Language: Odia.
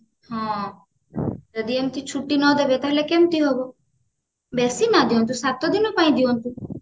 ହଁ ଯଦି ଏମିତି ଛୁଟି ନଦେବେ ତାହାଲେ କେମିତି ହବ ବେଶି ନଦିଅନ୍ତୁ ସାତ ଦିନ ପାଇଁ ଦିଅନ୍ତୁ